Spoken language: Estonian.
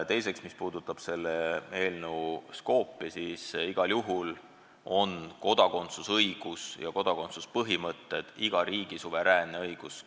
Teiseks, mis puudutab selle eelnõu skoopi, siis igal juhul on kodakondsusõiguse ja kodakondsuspõhimõtete kehtestamine iga riigi suveräänne õigus.